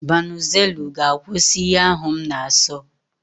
Banuzelu ga-akwụsị ihe ahu m na-aso.